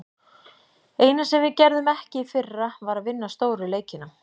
Eina sem við gerðum ekki í fyrra, var að vinna stóru leikina.